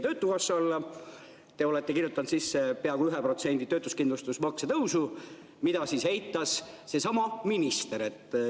Te olete kirjutanud sisse peaaegu 1% töötuskindlustusmakse tõusu, mida eitas seesama minister.